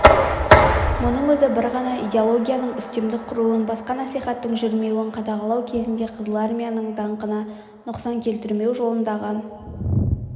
мұның өзі бір ғана идеологияның үстемдік құруын басқа насихаттың жүрмеуін қадағалау негізінде қызыл армияның даңқына нұқсан келтірмеу жолындағы